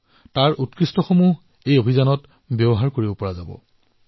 আপোনালোকৰ ভাল শ্লগানসমূহো এই অভিযানত ব্যৱহাৰ কৰা হব